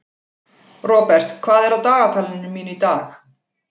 Robert, hvað er á dagatalinu mínu í dag?